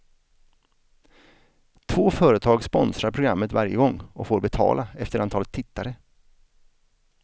Två företag sponsrar programmet varje gång och får betala efter antalet tittare.